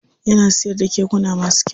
Yana siyar da kekuna masu kyau.